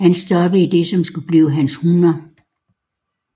Han stoppede i det som skulle blive hans 100